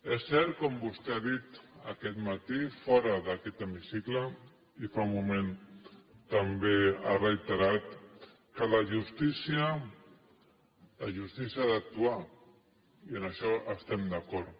és cert com vostè ha dit aquest matí fora d’aquest hemicicle i fa un moment també ho ha reiterat que la justícia ha d’actuar i en això estem d’acord